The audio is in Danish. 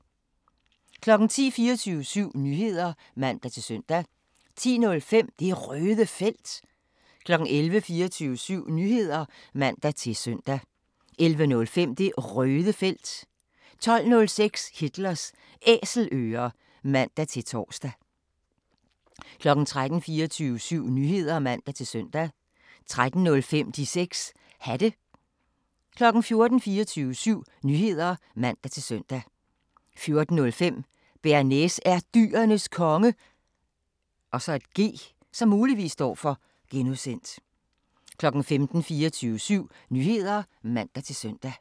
10:00: 24syv Nyheder (man-søn) 10:05: Det Røde Felt 11:00: 24syv Nyheder (man-søn) 11:05: Det Røde Felt 12:05: Hitlers Æselører (man-tor) 13:00: 24syv Nyheder (man-søn) 13:05: De 6 Hatte 14:00: 24syv Nyheder (man-søn) 14:05: Bearnaise er Dyrenes Konge (G) 15:00: 24syv Nyheder (man-søn)